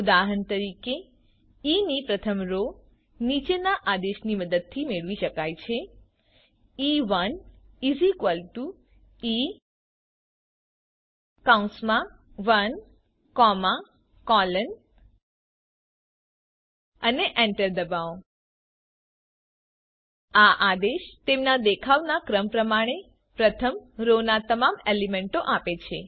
ઉદાહરણ તરીકે ઇ ની પ્રથમ રો નીચેના આદેશની મદદથી મેળવી શકાય છે ઇ1 E1 અને એન્ટર દબાવો આ આદેશ તેમના દેખાવના ક્રમ પ્રમાણે પ્રથમ રો ના તમામ એલીમેન્ટો આપે છે